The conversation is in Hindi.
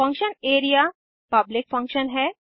फंक्शन एरिया पब्लिक फंक्शन है